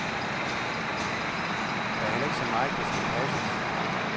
Der er heller ikke så meget, der skal passes.